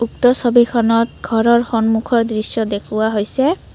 উক্ত ছবিখনত ঘৰৰ সন্মুখৰ দৃশ্য দেখুওৱা হৈছে।